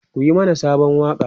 ku Yi mana Sabon waƙa!